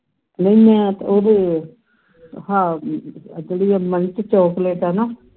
ਨਹੀਂ ਮੈਂ ਤੇ ਉਹਦੇ ਹਾਂ ਜਿਹੜੀਆਂ munch chocolate ਹੈਨਾ